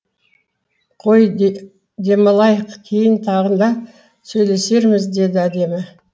қой демалайық кейін тағы да сөйлесерміз деді әдемі